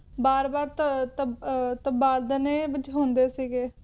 ਬਾਰ-ਬਾਰ ਤਬ`ਤਬ`ਤਬਾਦਲੇ ਵਿਚ ਹੁੰਦੇ ਸੀਗੇ